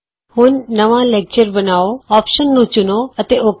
ਹੁਣ ਨਵਾਂ ਲੈਕਚਰ ਬਣਾਉ ਵਿਕਲਪ ਨੂੰ ਚੁਣੋ ਅਤੇ ਔਕੇ